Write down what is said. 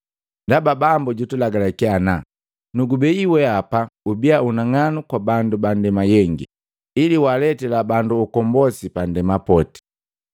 Ndaba bambu jutulagalakia ana: “ ‘Nukubei weapa ubia unang'anu kwabandu ba ndema yengi, ili waaletila bandu ukombosi pandema poti.’ ”